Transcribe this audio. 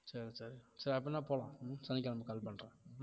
சரி சரி சரி அப்படின்னா போகலாம் சனிக்கிழமை call பண்றேன்